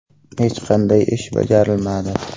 Hech qanday ish bajarilmadi.